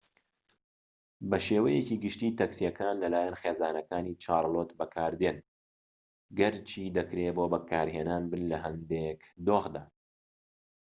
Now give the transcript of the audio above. بە شێوەیەکی گشتی تاکسیەکان لە لایەن خێزانەکان چارلۆت بەکاردێن گەرچی دەکرێت بۆ بەکارهێنان بن لە هەندێک دۆخدا